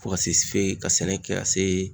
Fo ka se fe ka sɛnɛ kɛ ka se